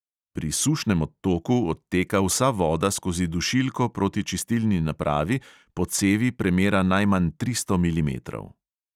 Pri sušnem odtoku odteka vsa voda skozi dušilko proti čistilni napravi po cevi premera najmanj tristo milimetrov.